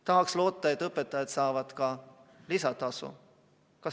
Tahaks loota, et õpetajad saavad ka lisatasu.